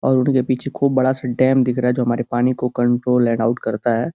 और ऊँट के पीछे खूब बड़ा सा डैम दिख रहा है जो हमारे पानी को कंट्रोल एंड आउट करता है।